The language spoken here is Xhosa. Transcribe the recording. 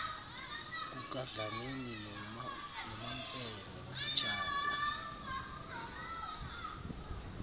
kukadlamini nomamfene notitshala